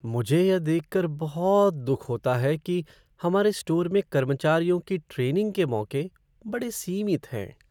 मुझे यह देख कर बहुत दुख होता है कि हमारे स्टोर में कर्मचारियों की ट्रेनिंग के मौके बड़े सीमित हैं।